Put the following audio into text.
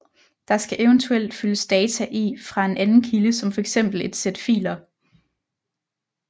Der skal eventuelt fyldes data i fra en anden kilde som for eksempel et sæt filer